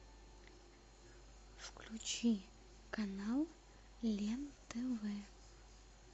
включи канал лен тв